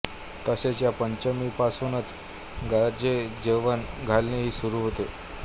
तसेच या पंचमीपासूनच गजेजेवण घालणे ही सुरू होते